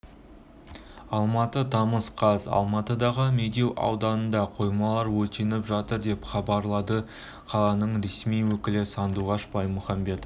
алматы тамыз қаз алматыдағы медеу ауданында қоймалар өртеніп жатыр деп хабарлады қаланың ресми өкілі сандуғаш баймухамбетова